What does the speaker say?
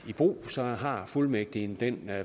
i brug så har fuldmægtigen den